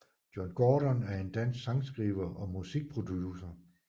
John Gordon er en dansk sangskriver og musikproducer